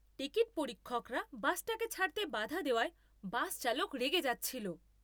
Ticket পরীক্ষকরা বাসটাকে ছাড়তে বাধা দেওয়ায় বাস চালক রেগে যাচ্ছিল।